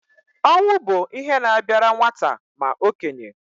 Ọnwụ bụ ihe na-abịara nwata ma okenye